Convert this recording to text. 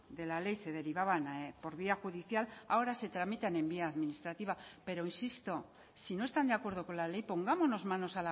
de la ley se derivaban por vía judicial ahora se tramitan en vía administrativa pero insisto si no están de acuerdo con la ley pongámonos manos